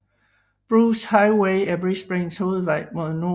Bruce Highway er Brisbanes hovedvej mod nord